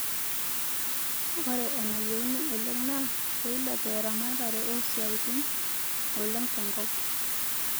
Ore enayeieuni oleng naa peilepu eramate oo isiatin oleng te nkop